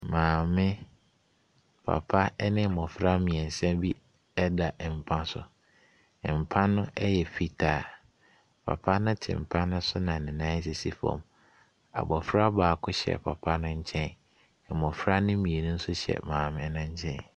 Maame, papa ne mmɔfra mmiɛnsa bi da mpa so. Mpa no yɛ fitaa. Papa te mpa no so na ne nan sisi fam. Abofra baako hyɛ papa no nkyen. Mmofra mmienu nso hyɛ maame no nkyɛn.